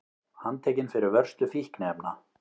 Handtekinn fyrir vörslu fíkniefna